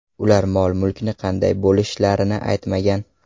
Ular mol-mulkni qanday bo‘lishlarini aytmagan.